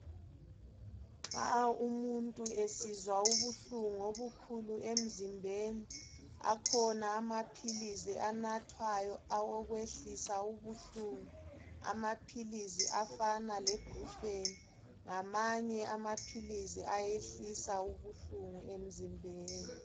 Nxa umuntu esizwa ubuhlungu obukhulu emzimbeni akhona amaphilizi anathwayo awokwehlisa ubuhlungu. Amaphilizi afana lebhrufeni ngamanye amaphilizi ayehlisa ubuhlungu emzimbeni.